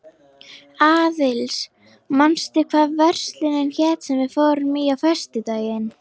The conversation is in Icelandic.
Aðils, manstu hvað verslunin hét sem við fórum í á föstudaginn?